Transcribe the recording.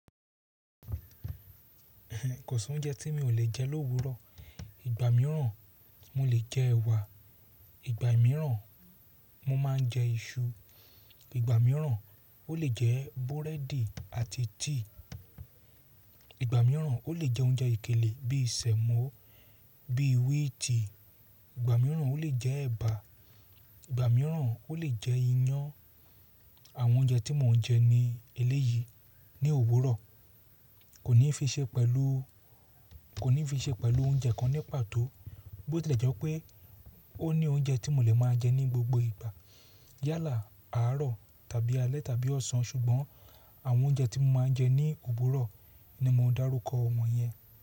Kosi oúnjẹ tí mi ò lè jẹ lówúrọ̀. Ìgbà mìíràn mo lè jẹ ẹ̀wà, ìgbà mìíràn mo máa ń jẹ iṣu, ìgbà mìíràn o lè jẹ búrẹ́dì àti tíì, ìgbà mìíràn o lè jẹ óunjẹ okéle bíi sẹ̀mọ́, bíi wíìtì, ìgbà mìíràn o lè jẹ ẹ̀bà, ìgbà mìíràn o lè jẹ iyán. Àwọn óunjẹ tí mò ń jẹ ní eléyìí ní òwúrọ̀ kò ní fi ṣe pẹ̀lú, kò ní fi ṣe pẹ̀lú óunjẹ kan nípàtọ́ bó tí ó lẹ̀ jẹ́ pé o ní óunjẹ tí mo lè máa jẹ ní gbogbo ìgbà, yálà, àárọ̀ tàbí alẹ́ tàbí ọ̀sán ṣùgbọ́n àwọn óunjẹ tí mo máa ń jẹ ní òwúrọ̀ ní mo darúkọ́ wọn yẹn.